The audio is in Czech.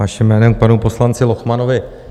Vaším jménem k panu poslanci Lochmanovi.